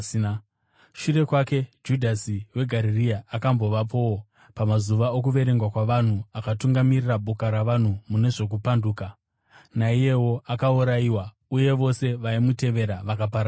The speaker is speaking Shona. Shure kwake, Judhasi weGarirea akambovapowo pamazuva okuverengwa kwavanhu akatungamirira boka ravanhu mune zvokupanduka. Naiyewo akaurayiwa, uye vose vaimutevera vakaparadzirwa.